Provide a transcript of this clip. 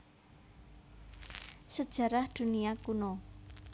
Sejarah Dunia Kuno